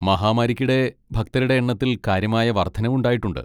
മഹാമാരിക്കിടെ, ഭക്തരുടെ എണ്ണത്തിൽ കാര്യമായ വർദ്ധനവുണ്ടായിട്ടുണ്ട്.